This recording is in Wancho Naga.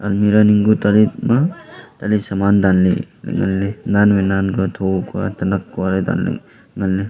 almirah ning ku tarit ma tali saman danley ley nganley nan wai nan kua tho kua tanak kua ley danley ngan ley.